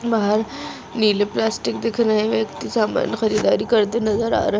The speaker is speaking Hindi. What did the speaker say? बाहर नीले प्लास्टिक दिख रहे है एक व्यक्ति समान खरीदारी करते नजर आ रह--